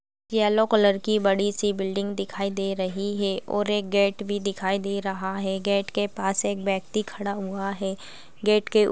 --yellow colour की बड़ी-सी building दिखाई दे रही है और एक गेट भी दिखाई दे रहा है गेट के पास एक व्यक्ति खड़ा हुआ है गेट के--